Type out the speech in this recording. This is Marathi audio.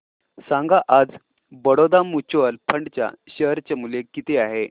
सांगा आज बडोदा म्यूचुअल फंड च्या शेअर चे मूल्य किती आहे